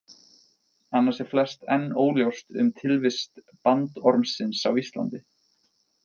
Annars er flest enn óljóst um tilvist bandormsins á Íslandi.